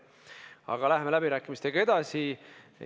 Aga läheme läbirääkimistega edasi.